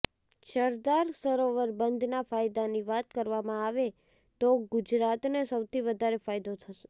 સરદાર સરોવર બંધના ફાયદાની વાત કરવામાં આવે તો ગુજરાતને સૌથી વધારે ફાયદો થશે